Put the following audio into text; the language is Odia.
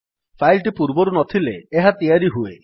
ଫାଇଲ୍ ଟି ପୂର୍ବରୁ ନଥିଲେ ଏହା ତିଆରି ହୁଏ